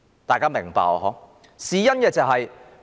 大家明白嗎？